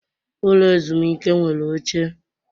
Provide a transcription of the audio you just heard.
Ụlọ ezumike nwere oche.